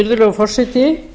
virðulegi forseti